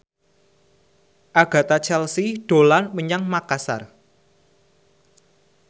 Agatha Chelsea dolan menyang Makasar